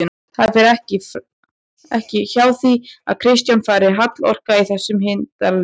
Það fer ekki hjá því að Kristján fari halloka í þessum hildarleik